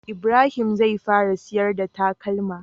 Ibrahim zai fara siyar da takalma